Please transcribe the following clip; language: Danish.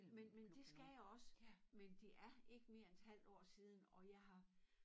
Men men det skal jeg også men det er ikke mere end et halvt år siden og jeg har